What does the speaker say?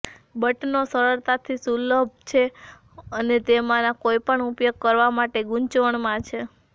બટનો સરળતાથી સુલભ છે અને તેમાંના કોઈપણ ઉપયોગ કરવા માટે ગૂંચવણમાં છે